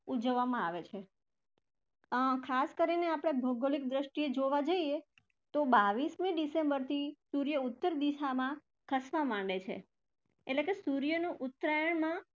ઉજવવામાં આવે છે. ખાસ કરીને આપણે ભૌગોલિક દ્રષ્ટીએ જોવા જઈએ તો બાવીસમી december થી સૂર્ય ઉત્તર દિશામાં ખસવા માંડે છે એટલે કે સૂર્યનું ઉત્તરાયણમાં